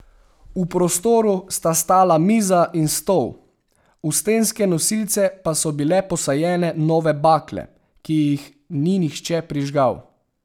V prostoru sta stala miza in stol, v stenske nosilce pa so bile posajene nove bakle, ki jih ni nihče prižgal.